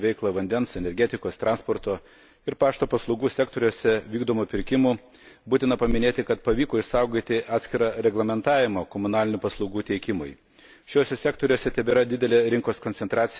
Kalbant konkrečiai apie direktyvą dėl subjektų, vykdančių veiklą vandens, energetikos, transporto ir pašto paslaugų sektoriuose vykdomų pirkimų, būtina paminėti, kad pavyko išsaugoti atskirą reglamentavimą komunalinių paslaugų teikimui.